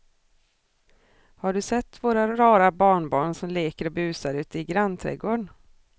Har du sett våra rara barnbarn som leker och busar ute i grannträdgården!